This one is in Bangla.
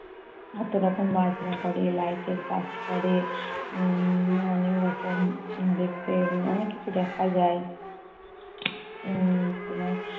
কতরকম বাজনা করে, light এর কাজ করে। উম অনেক রকম দেখতে, অনেককিছু দেখা যায়। উম তোমার